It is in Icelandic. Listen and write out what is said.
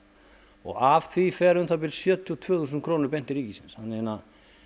og af því fara um það bil sjötíu og tvö þúsund krónur beint til ríkisins þannig